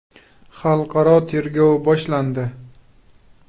Xalqaro tergov boshlandi.